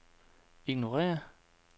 ignorér